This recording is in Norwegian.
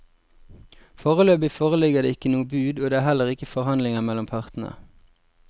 Foreløpig foreligger det ikke noe bud og det er heller ikke forhandlinger mellom partene.